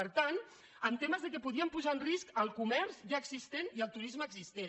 per tant amb temes que podien posar en risc el comerç ja existent i el turisme existent